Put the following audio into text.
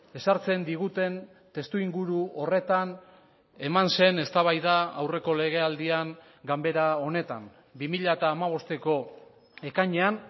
ezartzen diguten testuinguru horretan eman zen eztabaida aurreko legealdian ganbera honetan bi mila hamabosteko ekainean